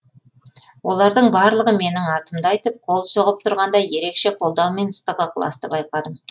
олардың барлығы менің атымды айтып қол соғып тұрғанда ерекше қолдаумен ыстық ықыласты байқадым